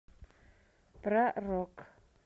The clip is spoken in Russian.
про рок